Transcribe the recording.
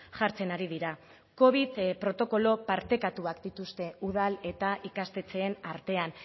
jartzen ari dira covid protokolo partekatuak dituzte udal eta ikastetxeen artean